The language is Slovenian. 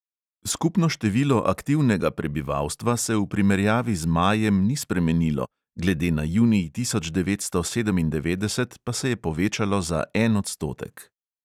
Skupno število aktivnega prebivalstva se v primerjavi z majem ni spremenilo, glede na junij tisoč devetsto sedemindevetdeset pa se je povečalo za en odstotek.